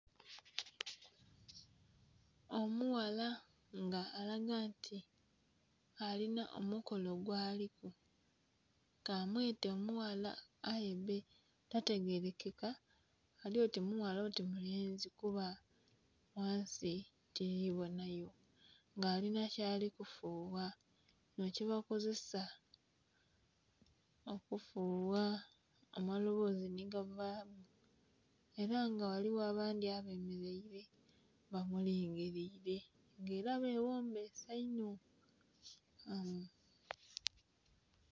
Omughala nga alaga nti alinha omukolo gwaliku ka mwete omughala aye bbe tategerekeka, ali oti mughala oti mulenzi kuba ghansi tili bonhayo, nga alinha kyali kufugha kinho kye bakozesa okufugha amalobozi nhi ga vaamu era nga ghaligho abandhi abemeleile bamulingiliile nga era beghombese inho.